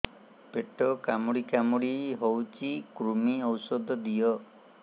ପେଟ କାମୁଡି କାମୁଡି ହଉଚି କୂର୍ମୀ ଔଷଧ ଦିଅ